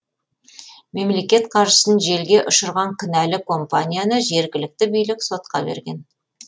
мемлекет қаржысын желге ұшырған кінәлі компанияны жергілікті билік сотқа берген